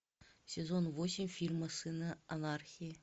сезон восемь фильма сыны анархии